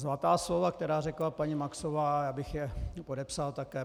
Zlatá slova, která řekla paní Maxová, já bych je podepsal také.